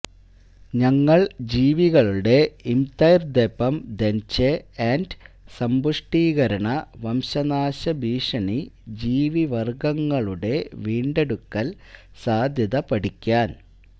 ഞങ്ങൾ ജീവികളുടെ interdependence and സമ്പുഷ്ടീകരണ വംശനാശഭീഷണി ജീവിവർഗങ്ങളുടെ വീണ്ടെടുക്കൽ സാധ്യത പഠിക്കാൻ